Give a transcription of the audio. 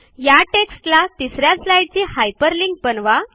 या टेक्स्टला तिस या स्लाईडची हायपरलिंक बनवा